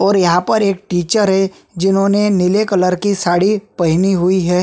और यहाँ पर एक टीचर है जिन्होंने नीले कलर की साड़ी पहनी हुई है।